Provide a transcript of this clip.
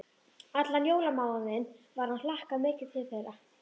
Allan jólamánuðinn var hlakkað mikið til þeirra.